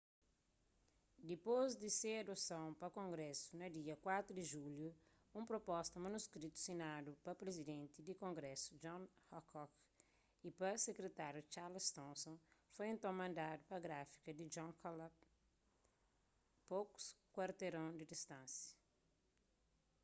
dipôs di se adoson pa kongrésu na da 4 di julhu un pruposta manuskritu sinadu pa prizidenti di kongrésu john hancock y pa sekritáriu charles thomson foi nton mandadu pa gráfika di john dunlap pokus kuarteron di distánsia